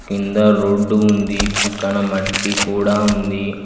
కింద రోడ్డు ఉంది పక్కన మట్టి కూడా ఉంది.